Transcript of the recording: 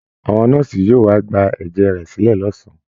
Àwọn nọ́ọ̀sì yóò wá gba ẹ̀jẹ̀ rẹ̀ sílẹ̀ lọ́sàn-án